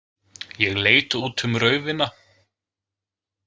Ég leit út um raufina.